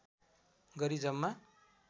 गरी जम्मा